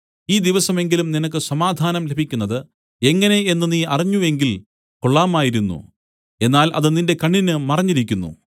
ഈ ദിവസമെങ്കിലും നിനക്ക് സമാധാനം ലഭിക്കുന്നതു എങ്ങനെ എന്നു നീ അറിഞ്ഞ് എങ്കിൽ കൊള്ളാമായിരുന്നു എന്നാൽ അത് നിന്റെ കണ്ണിന് മറഞ്ഞിരിക്കുന്നു